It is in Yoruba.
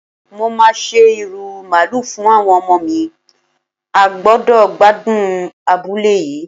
Mo máa se ìrù Màálù fún àwọn ọmọ mi, a gbúdọ̀ gbádùn abúlé yìí.